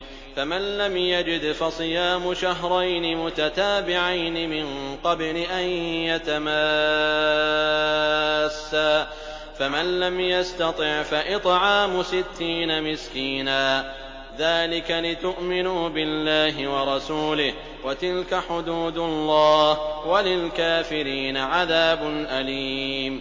فَمَن لَّمْ يَجِدْ فَصِيَامُ شَهْرَيْنِ مُتَتَابِعَيْنِ مِن قَبْلِ أَن يَتَمَاسَّا ۖ فَمَن لَّمْ يَسْتَطِعْ فَإِطْعَامُ سِتِّينَ مِسْكِينًا ۚ ذَٰلِكَ لِتُؤْمِنُوا بِاللَّهِ وَرَسُولِهِ ۚ وَتِلْكَ حُدُودُ اللَّهِ ۗ وَلِلْكَافِرِينَ عَذَابٌ أَلِيمٌ